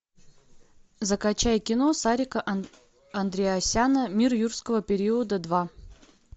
закачай кино сарика андреасяна мир юрского периода два